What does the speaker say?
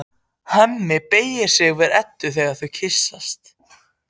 Hemmi beygir sig yfir Eddu og þau kyssast.